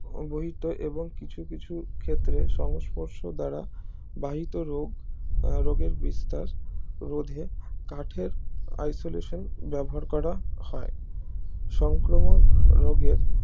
বহিত এবং কিছু কিছু ক্ষেত্রে সংস্পর্শ দ্বারা বাহিত রোগ রোগের বিস্তার রোধে কাঠের isolation ব্যবহার করা হয় সংক্রমক রোগের